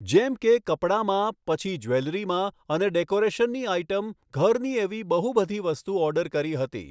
જેમ કે કપડામાં પછી જવેલરીમાં અને ડૅકોરેશનની આઈટમ ઘરની એવી બહુ બઘી વસ્તુ ઑર્ડર કરી હતી